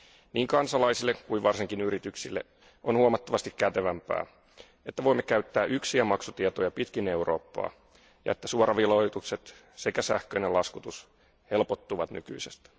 Niin kansalaisille kuin varsinkin yrityksille on huomattavasti kätevämpää, että voimme käyttää yksiä maksutietoja pitkin Eurooppaa ja että suoraveloitukset sekä sähköinen laskutus helpottuvat nykyisestä.